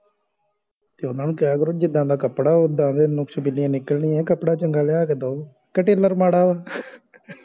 ਤੇ ਓਹਨਾ ਨੂੰ ਕਿਹਾ ਕਰੋ ਜਿੰਦਾ ਦਾ ਕੱਪੜਾ ਓਦਾਂ ਦਿਆ ਨੁਕਸ ਬੀਨਿਆ ਨਿਕਲਣੀਆਂ ਕੱਪੜਾ ਚੰਗਾ ਲਿਆ ਕ ਦਾਓ ਕੇ ਟੇਲਰ ਮਾੜਾ ਅਵ